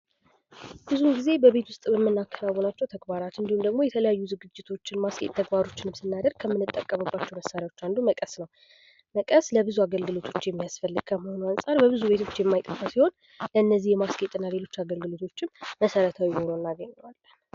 ብዙ ጊዜ በቤት ውስጥ በምናከናውናቸው ተግባራት ወይም የተለያዩ ዝግጅቶች እና ተግባሮች ስናደርግ ከምንጠቀምባቸው አንዱ መቀስ ነው ።መቀስ ለተለያዩ አግልግሎቶች የሚውል በብዙ ቤቶች የማይጠፋ ሲሆን ለነዚህ ማስጌጥና ማስዋብም መሰረታዊ ሁኖ ይገኛል።